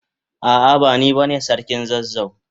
A'a, bani bane sarkin zazzau.